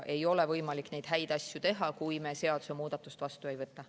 Ei ole võimalik neid häid asju teha, kui me seadusemuudatust vastu ei võta.